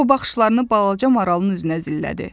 O baxışlarını balaca maralın üzünə zillədi.